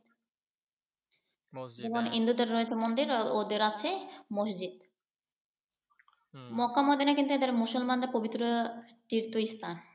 যেমন হিন্দুদের রয়েছে মন্দির আর ওদের আছে মসজিদ। মক্কা মদিনা কিন্তু এদের মুসলমানদের পবিত্র তীর্থস্থান।